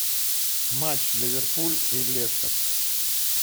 матч ливерпуль и лестер